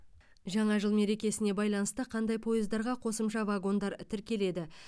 жаңа жыл мерекесіне байланысты қандай пойыздарға қосымша вагондар тіркеледі